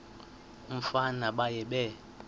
umfana baye bee